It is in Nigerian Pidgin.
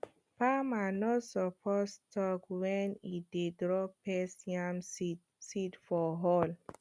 farmer no suppose talk when e dey drop yam seed seed for hole